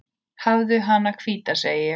Hafðu hana hvíta, segi ég.